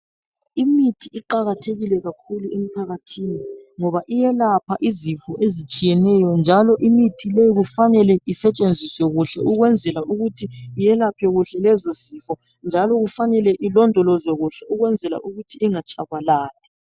Imithi iqakathekile kakhulu emphakathini, ngaba iyelapha izifo ezitshiyeneyo. Njalo imithi leyi kumele isetshenziswe kuhle ukwenzela ukuthi yelaphe kuhle lezo zifo. Njalo ifanele ilondolozwe kuhle ukwenzela ukuthi ingatshabalali.